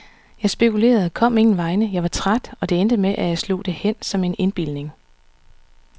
Jeg spekulerede, kom ingen vegne, jeg var træt, og det endte med, at jeg slog det hen som en indbildning.